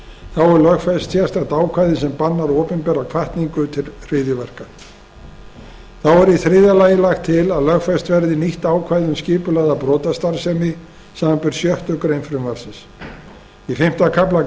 þá er lögfest sérstakt ákvæði sem bannar opinbera hvatningu til hryðjuverka þá er í þriðja lagi lagt til að lögfest verði nýtt ákvæði um skipulagða brotastarfsemi samanber sjöttu greinar frumvarpsins í fimmta kafla